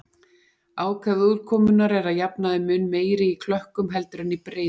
Ákefð úrkomunnar er að jafnaði mun meiri í klökkum heldur en í breiðum.